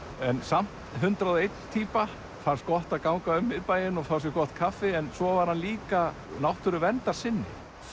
en samt hundrað og ein týpa fannst gott að ganga um miðbæinn og fá sér gott kaffi en svo var hann líka náttúruverndarsinni